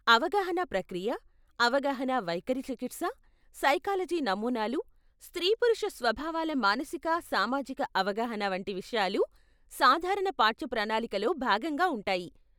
అవగాహన ప్రక్రియ, అవగాహన వైఖరి చికిత్స, సైకాలజీ నమూనాలు, స్త్రీ పురుష స్వభావాల మానసిక సామాజిక అవగాహన, వంటి విషయాలు సాధారణ పాఠ్యప్రణాళికలో భాగంగా ఉంటాయి.